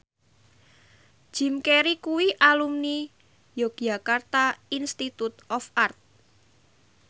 Jim Carey kuwi alumni Yogyakarta Institute of Art